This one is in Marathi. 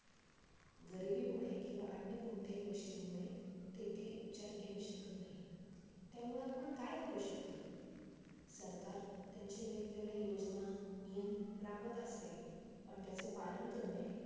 गरिबीमुळे किंवा अन्य कोणत्याही गोष्टींमुळे ते ती उपचार घेऊ शकत नाही. त्यामुळे आपण काय करु शकतो? सरकार त्यांच्या वेगवेगळया योजना, नियम राबवत असते, पण त्याचे पालन करणे